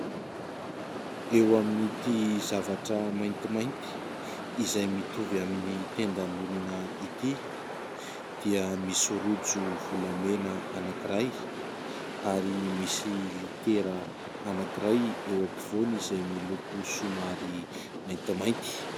Eo amin'ity zavatra maintimainty izay mitovy amin'ny tendan'olona ity dia misy rojo volamena anankiray ary misy litera anankiray eo ampovoany izay miloko somary maintimainty.